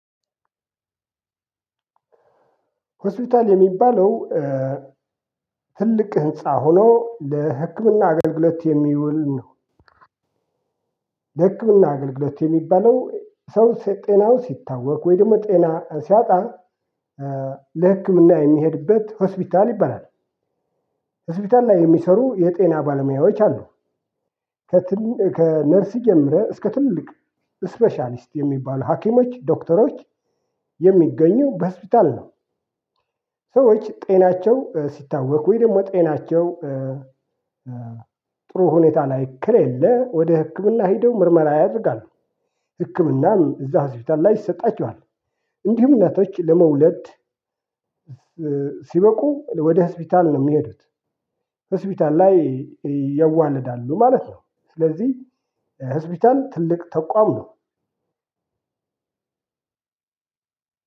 ሆስፒታል የሚባለው ትልቅ ህንፃ ሆኖ ለህክምና አገልግሎት የሚውል ነው። ለህክምና አገልግሎት የሚባለው ሰው ጤናው ሲታወቅ፣ ወይ ደግሞ ጤና ሲያጣ ለህክምና የሚሄድበት ሆስፒታል ይባላል። ሆስፒታል ላይ የሚሰሩ የጤና ባለሙያዎች አሉ። ከትንሽ ከነርስ ጀምረህ እስከ ትልቅ ስፐሻሊስ የሚባሉ ሃኪሞች፣ ዶክተሮች የሚገኙት በሆስፒታል ነው። ሰዎች ጤናቸው ሲታወክ፣ ወይ ደግሞ ጤናቸው ናቸው ጥሩ ሁኔታ ላይ ከለለ፣ ወደ ህክምና ሄደው ምርመራ ያደርጋሉ። ህክምናም እዛ ህዝብ ላይ ይሰጣቸዋል። እንዲሁም እናቶች ለመውለድ ሲበቁ ወደ ሆስፒታል ነው የሚሄዱት። ሆስፒታል ላይ ያዋለዳሉ ማለት ነው። ስለዚህ ሆስፒታል ትልቅ ተቋም ነው።